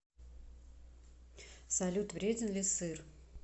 салют вреден ли сыр